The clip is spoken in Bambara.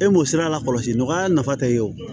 E m'o sira lakɔlɔsi nɔgɔya nafa tɛ ye o